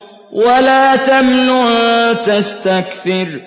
وَلَا تَمْنُن تَسْتَكْثِرُ